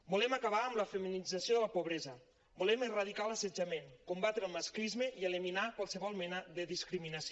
volem acabar amb la feminització de la pobresa volem erradicar l’assetjament combatre el masclisme i eliminar qualsevol mena de discriminació